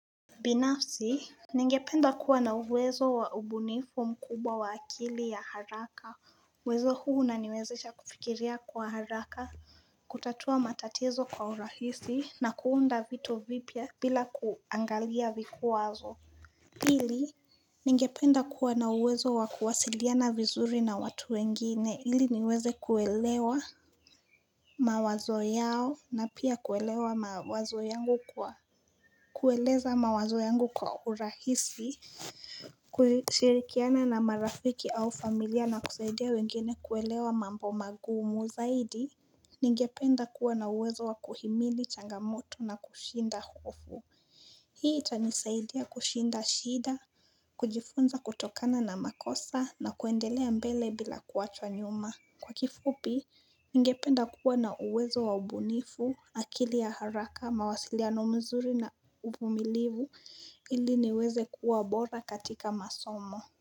Binafsi Ningependa kuwa na uwezo wa ubunifu mkubwa wa akili ya haraka uwezo huu unaniwezesha kufikiria kwa haraka kutatua matatizo kwa urahisi na kuunda vitu vipya bila kuangalia vikwazo Hili Ningependa kuwa na uwezo wa kuwasilia na vizuri na watu wengine hili niweze kuelewa mawazo yao na pia kuelewa mawazo yangu kwa kueleza mawazo yangu kwa urahisi Kusirikiana na marafiki au familia na kusaidia wengine kuelewa mambo magumu zaidi Ningependa kuwa na uwezo wa kuhimili changamoto na kushinda hofu Hii itanisaidia kushinda shida kujifunza kutokana na makosa na kuendelea mbele bila kuachwa nyuma Kwa kifupi Ningependa kuwa na uwezo waubunifu, akili ya haraka, mawasiliano mzuri na uvumilivu ili niweze kuwa bora katika masomo.